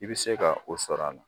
I bɛ se ka o sɔrɔ a la.